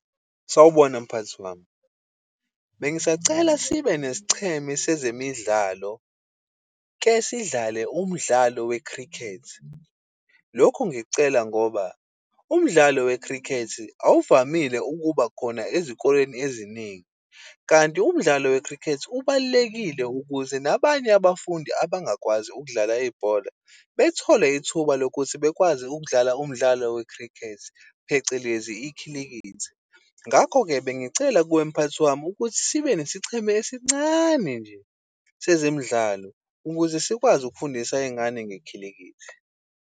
Sawubona, mphathi wami. Bengisacela sibe nesicheme sezemidlalo, ke sidlale umdlalo we-cricket. Lokhu ngikucela ngoba umdlalo we-cricket awuvamile ukuba khona ezikoleni eziningi, kanti umdlalo we-cricket ubalulekile ukuze nabanye abafundi abangakwazi ukudlala ibhola bethola ithuba lokuthi bakwazi ukudlala umdlalo we-cricket, phecelezi ikhilikithi. Ngakho-ke, bengicela kuwe mphathi wami ukuthi sibe nesicheme esincane nje sezemidlalo, ukuze sikwazi ukufundisa iy'ngane ngekhilikithi.